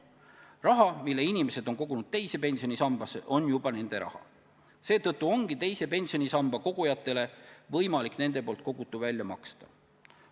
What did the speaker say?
Raha, mille inimesed on kogunud teise pensionisambasse, on juba nende raha, seetõttu ongi teise pensionisambasse kogujatele võimalik nende kogutu välja maksta.